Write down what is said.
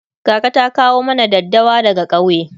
kaka ta kawo mana daddawa daga kauye